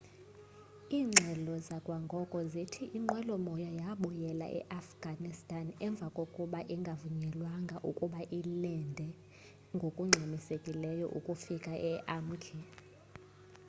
iingxelo zakwangoko zithi inqwelomoya yabuyela eafghanistan emva kokuba ingavunyelwanga ukuba ilende ngokungxamisekileyo ukufika e-urmqi